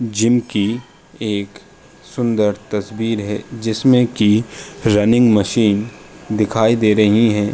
जिनकी एक सुन्दर तस्वीर है। जिसमें कि रनिंग मशीन दिखाई दे रही हैं।